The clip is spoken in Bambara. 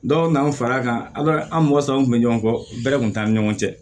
Dɔw nan'a fara kan ala an mɔgɔ saba kun bɛ ɲɔgɔn kɔ bɛrɛ kun t'an ni ɲɔgɔn cɛ